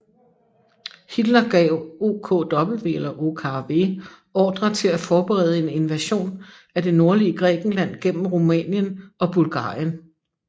Hitler gav OKW ordre til at forberede en invasion af det nordlige Grækenland gennem Rumænien og Bulgarien